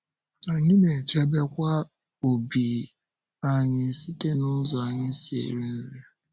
Anyị na-echebekwa ọ̀bì anyị site n’ụzọ anyị si eri nri.